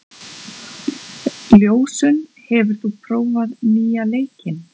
Ljósunn, hefur þú prófað nýja leikinn?